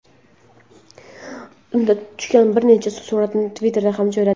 Unda tushgan bir nechta suratni Twitter’ga ham joyladi.